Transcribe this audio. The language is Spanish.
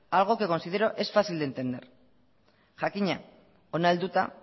algo que considero es fácil de entender jakina hona helduta